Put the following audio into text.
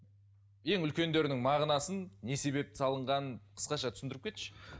ең үлкендердің мағынасын не себепті салынғанын қысқаша түсіндіріп кетші